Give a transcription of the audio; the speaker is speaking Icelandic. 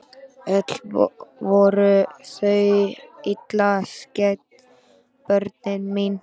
Öll voru þau illa skædd börnin mín.